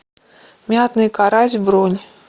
мятный карась бронь